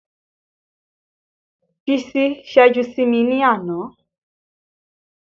Bísí ṣẹ́jú sí mi ní àná